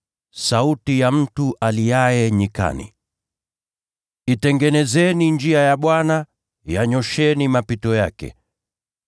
“sauti ya mtu aliaye nyikani. ‘Itengenezeni njia ya Bwana, yanyoosheni mapito yake.’ ”